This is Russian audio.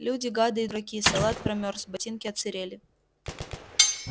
люди гады и дураки салат промёрз ботинки отсырели